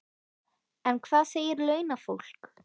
En hvað segir launafólk?